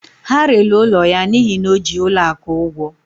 Ha rere ụlọ ya n'ihi na o ji ụlọ akụ ụgwọ